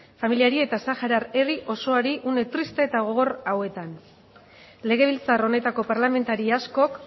familiari eta saharar herri osoari une triste eta gogor hauetan legebiltzar honetako parlamentari askok